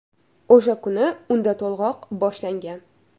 O‘sha kuni unda to‘lg‘oq boshlangan.